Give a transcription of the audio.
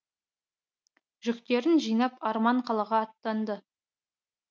жүктерін жинап арман қалаға аттанды